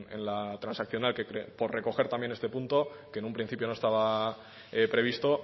en la transaccional por recoger también este punto que en un principio no estaba previsto